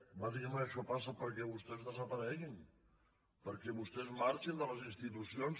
bàsicament això passa perquè vostès desapareguin perquè vostès marxin de les institucions